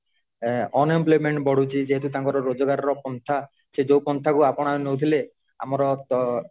unemployment ବଢୁଛି ଯେହେତୁ ତାଙ୍କର ରୋଜଗାରର ପନ୍ଥା ସେ ଯୋଉ ପନ୍ଥା କୁ ଆପଣାଉଁ ନଉଥିଲେ ଆମରତ